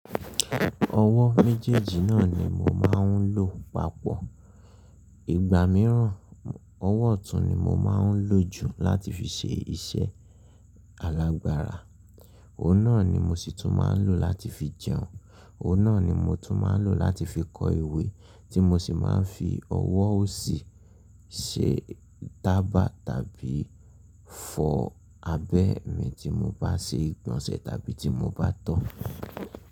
Ọwọ́ méjèèjì náà ni mo máa ń lò papọ̀. Ìgbà mìíràn, ọwọ́ ọ̀tún ni mo máa ń lò jù láti fi ṣe iṣẹ́ alágbára, òun náà ni mo sì tún máa ń lò láti fi jẹun, òun náà ni mo tún máa ń lò láti fi kọ iwé tí mo sì máa ń fi ọwọ́ òsì ṣe taba tàbí fọ abẹ́ mi tí mo bá ṣe ìgbọ̀nsẹ̀ tàbí tí mo bá tọ́